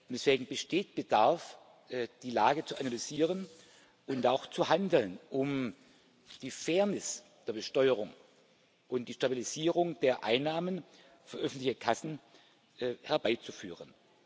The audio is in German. Deswegen besteht Bedarf, die Lage zu analysieren und auch zu handeln, um die Fairness der Besteuerung und die Stabilisierung der Einnahmen für öffentliche Kassen herbeizuführen.